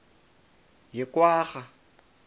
yekwarha